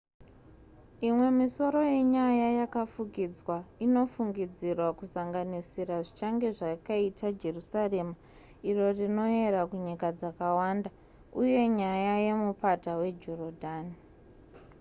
imwe misoro yenyaya yakafukidzwa inofungidzirwa kusanganisira zvichange zvakaita jerusarema iro rinoyera kunyika dzakawanda uye nyaya yemupata wejorodhani